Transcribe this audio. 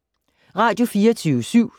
Radio24syv